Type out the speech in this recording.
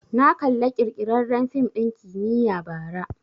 Na kalla ƙirƙirarren fim ɗin kimiyya bara